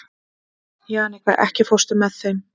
Jannika, ekki fórstu með þeim?